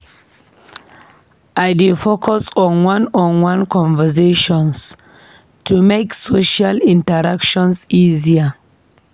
I dey focus on one-on-one conversations to make social interactions easier.